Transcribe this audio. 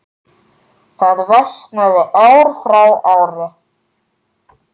Það versnar ár frá ári.